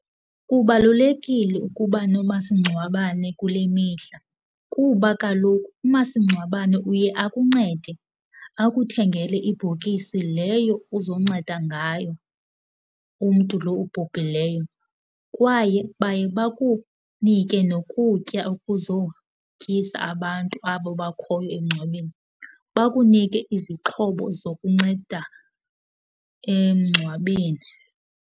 Kubalulekile ukuba nomasingcwabane kule mihla kuba kaloku umasingcwabane uye akuncede akuthengele ibhokisi leyo uzonceda ngayo umntu loo ubhubhileyo. Kwaye baye bakunike nokutya okuzotyisa abantu abo bakhoyo emngcwabeni bakunike izixhobo zokunceda emngcwabeni.